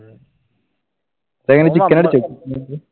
അതുകഴിഞ്ഞു chicken എടുത്തോ?